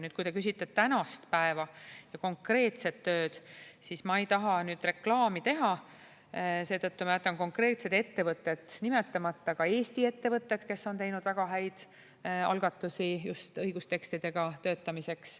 Nüüd, kui te küsite tänast päeva ja konkreetset tööd, siis ma ei taha siin reklaami teha, seetõttu jätan konkreetsed ettevõtted nimetamata, ka Eesti ettevõtted, kes on teinud väga häid algatusi just õigustekstidega töötamiseks.